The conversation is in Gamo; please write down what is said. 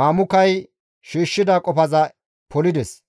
Mamukay shiishshida qofaza polides.